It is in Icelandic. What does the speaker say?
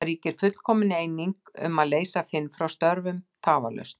Það ríkti fullkomin eining um að leysa Finn frá störfum tafarlaust.